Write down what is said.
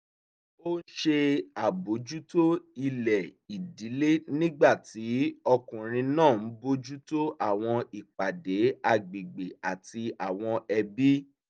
ó ń ṣe àbójútó ilẹ̀ ìdílé nígbà tí ọkùnrin náà ń bójú tó àwọn ìpàdé agbègbè àti àwọn ẹbí